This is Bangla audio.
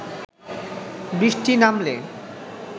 বৃষ্টি নামলে